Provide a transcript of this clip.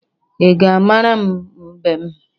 Ị ga-amara m mbem?